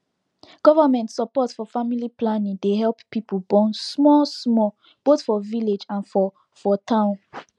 government support for family planning dey help people born small smallboth for village and for for town